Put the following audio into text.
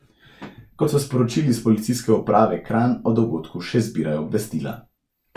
Kot so sporočili s Policijske uprave Kranj, o dogodku še zbirajo obvestila.